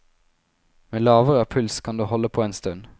Med lavere puls kan du holde på en stund.